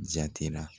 Jatira